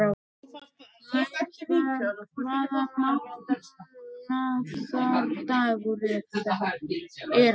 Laufar, hvaða mánaðardagur er í dag?